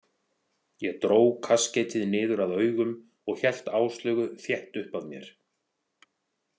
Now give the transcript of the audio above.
Ég dró kaskeitið niður að augum og hélt Áslaugu þétt upp að mér.